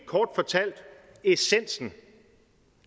kort fortalt essensen